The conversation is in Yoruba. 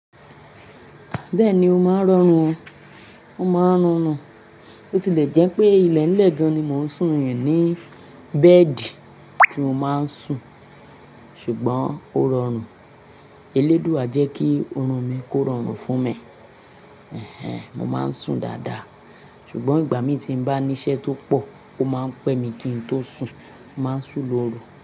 Bẹ́ẹ̀ni ó máa ń rọrùn o, ó máa ń rọrún. Bó tilẹ̀ jẹ́ pé ilẹ̀lẹ gan ni mo ń sùn í bẹ́ẹ̀dì tí mo máa ń sùn, ṣùgbọ́n ó rọrùn. Eléduà jẹ́ kí oorun mi kó rọrùn fún mi. Èhèń, mo máa ń sùn dáadáa ṣùgbọ́n ìgbà mí tí ń bá ní iṣẹ́ tó pọ̀, ó máa ń pẹ mi kí n tó sùn, mo máa ń sùn lóru.